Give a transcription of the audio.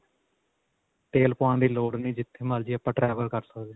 ਤੇਲ ਪਾਉਣ ਦੀ ਲੋੜ ਨੀ ਜਿਥੇ ਮਰਜੀ ਆਪਾਂ travel ਕਰ ਸਕਦੇ ਹਾਂ.